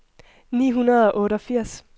ni hundrede og otteogfirs